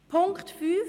Punkt 5: